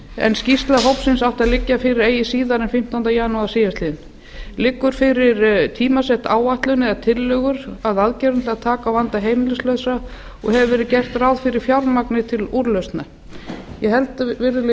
en skýrsla hópsins átti að liggja fyrir eigi síðar en fimmtánda janúar síðastliðnum annars liggur fyrir tímasett áætlun eða tillögur að aðgerðum til að taka á vanda heimilislausra og hefur verið gert ráð fyrir fjármagni til úrlausna ég held virðulegi